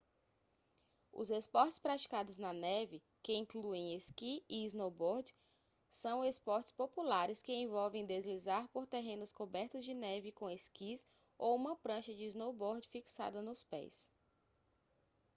os esportes praticados na neve que incluem esqui e snowboard são esportes populares que envolvem deslizar por terrenos cobertos de neve com esquis ou uma prancha de snowboard fixada nos pés